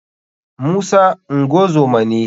musa ngozoma ne.